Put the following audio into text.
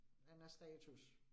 Den er status